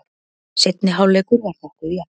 Seinni hálfleikur var nokkuð jafn.